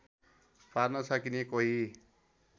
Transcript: पार्न सकिने कोही